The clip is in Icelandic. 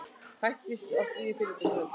Hætta á stríði á Fílabeinsströndinni